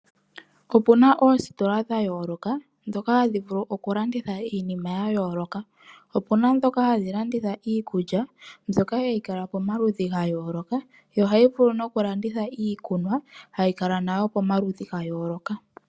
Opena oositola dhayooloka ndhoka hadhi vulu okulanditha iinima yayooloka. Opena ndhoka hadhi landitha iikulya ndyoka hayi kala pomaludhi gayooloka nohadhi vulu okulanditha iikuna hayi kala nayo pomaludhi gayooloka.